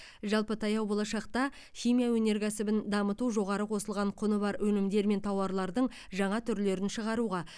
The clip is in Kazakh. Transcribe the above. жалпы таяу болашақта химия өнеркәсібін дамыту жоғары қосылған құны бар өнімдер мен тауарлардың жаңа түрлерін шығаруға